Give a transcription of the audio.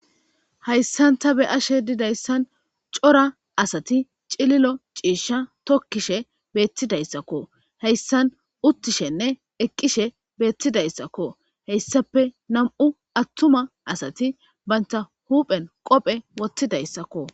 Hayssan ta be'ashe dizayssan cora asati cilila ciishsha tokkisha beettidayssakko. Hayssan uttishenne eqqishe bettidayssako. Hayssappe nami'u attuma asati banta huphen qophe woththidayssakko.